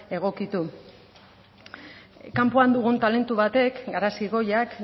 egokitu kanpoan dugun talentu batek garazi goiak